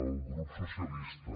al grup socialista